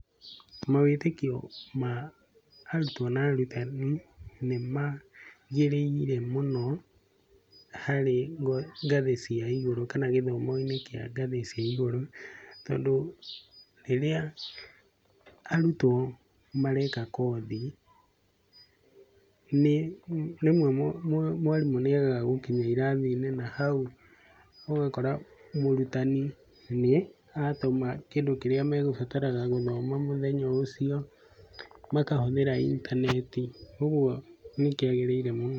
Mawĩtĩkio ma arutwo na arutani nĩ magĩrĩire mũno harĩ ngathĩ cia igũrũ kana gĩthomo-inĩ kĩa ngathĩ cia igũrũ. Tondũ rĩrĩa arutwo mareka kothi, nĩ rĩmwe mwarimũ nĩ agaga gũkinya irathi-inĩ, na hau ũgakora mũrutani nĩ atũma kĩndũ kĩrĩa megũbataraga gũthoma mũthenya ũcio, makahũthĩra intaneti. Ũguo nĩ kĩagĩrĩire mũno.